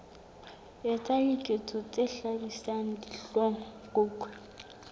etsa diketso tse hlabisang dihlong